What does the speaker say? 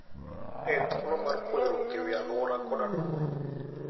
En thuolo mar puonjruok e wi alwora koda dongruok.